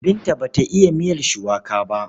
Binta ba ta iya miyar shuwaka ba.